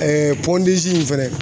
in fɛnɛ